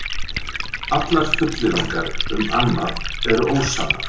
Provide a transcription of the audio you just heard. Allar fullyrðingar um annað eru ósannar